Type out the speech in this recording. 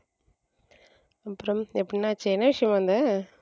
அப்புறம் என்னாச்சு என்ன விஷயமா வந்த.